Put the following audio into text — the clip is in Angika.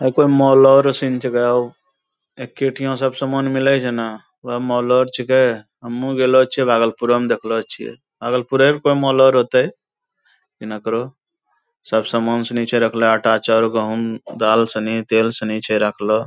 कोनो माॅलो रो सीन छेकै हो एक्के ठिया सब समान मिलै छै ना वहा माॅलो रो छेकै हमहू गेलो छियै भागलपुरअ म देखने छियै भागलपुरै रअ कोनो माॅलो रो होतै। हिनकरो सब समान सिनी छै राखलो आटा चौर गहूम दाल सिनी तेल सिनी छै राखलो।